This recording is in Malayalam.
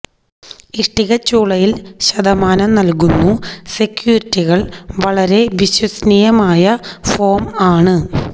ഇഷ്ടികച്ചൂളയിൽ ശതമാനം നൽകുന്നു സെക്യൂരിറ്റികള് വളരെ വിശ്വസനീയമായ ഫോം ആണ്